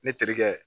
Ne terikɛ